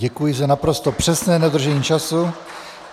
Děkuji za naprosto přesné dodržení času.